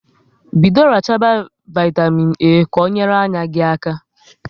Bido rachaba vaitamịn A ka ọ nyere anya gị aka